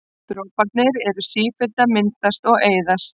Droparnir eru sífellt að myndast og eyðast.